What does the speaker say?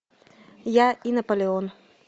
я и наполеон